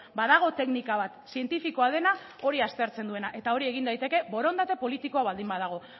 badago teknika bat zientifikoa dena hori aztertzen duena eta hori egin daiteke borondate politikoa baldin badago